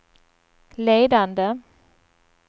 ledande